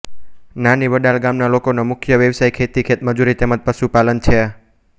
નાની વડાલ ગામના લોકોનો મુખ્ય વ્યવસાય ખેતી ખેતમજૂરી તેમ જ પશુપાલન છે